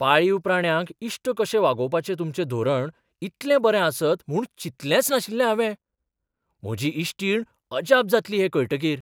पाळीव प्राण्यांक इश्ट कशे वागोवपाचें तुमचें धोरण इतलें बरें आसत म्हूण चिंतलेंच नाशिल्लें हावें. म्हजी इश्टीण अजाप जातली हें कळटकीर.